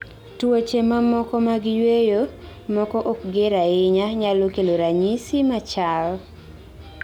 Tuoche mamoko mag yueyo, moko ok ger ahinya, nyalo kelo ranyisis machal